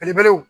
Belebelew